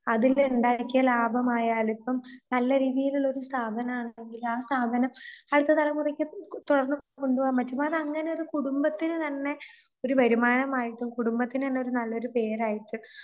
അതിന്റെ ഉണ്ടാക്കിയ ലാഭമായാലിപ്പം നല്ല രീതിയിലുള്ളൊരു സ്ഥാപനമാണെങ്കിൽ ആ സ്ഥാപനം അടുത്ത തലമുറക്ക് തുടർന്ന്കൊണ്ടുപോകാൻ പറ്റും അതാങ്ങാനൊരു കുടുംബത്തിന് തന്നെ ഒരു വരുമാനമായേക്കും കുടുംബത്തിന് തന്നൊരു നല്ലൊരുപേരായിക്കും.